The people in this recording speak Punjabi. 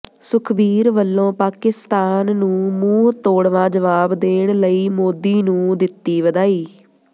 ਸੁਖਬੀਰ ਵੱਲੋਂ ਪਾਕਿਸਤਾਨ ਨੂੰ ਮੂੰਹ ਤੋੜਵਾਂ ਜਵਾਬ ਦੇਣ ਲਈ ਮੋਦੀ ਨੂੰ ਦਿੱਤੀ ਵਧਾਈ